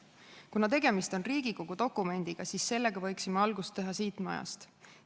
Kuna tegemist on Riigikogu dokumendiga, siis sellega võiksime algust teha siit majast.